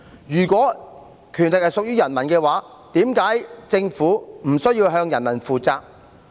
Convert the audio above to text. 如果權力屬於人民，為何政府無須向人民負責？